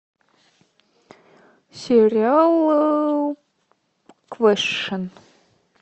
сериал квешн